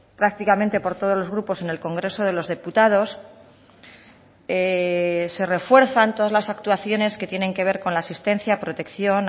prácticamente por todos los grupos en el congreso de los diputados se refuerzan todas las actuaciones que tienen que ver con la asistencia protección